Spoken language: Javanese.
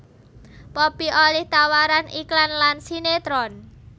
Poppy olih tawaran iklan lan sinetron